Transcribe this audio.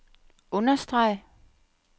understreg